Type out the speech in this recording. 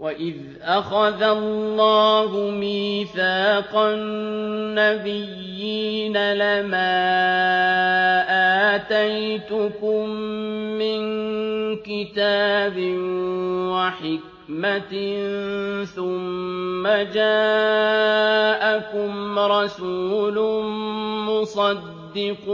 وَإِذْ أَخَذَ اللَّهُ مِيثَاقَ النَّبِيِّينَ لَمَا آتَيْتُكُم مِّن كِتَابٍ وَحِكْمَةٍ ثُمَّ جَاءَكُمْ رَسُولٌ مُّصَدِّقٌ